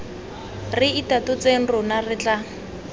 re itatotseng rona re tla